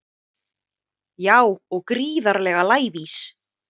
Já og gríðarlega lævís